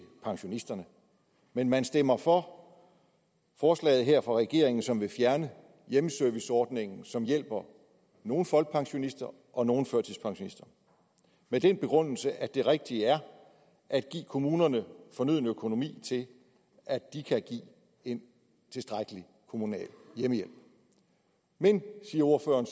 pensionisterne men man stemmer for forslaget her fra regeringen som vil fjerne hjemmeserviceordningen som hjælper nogle folkepensionister og nogle førtidspensionister med den begrundelse at det rigtige er at give kommunerne fornøden økonomi til at de kan give en tilstrækkelig kommunal hjemmehjælp men siger ordføreren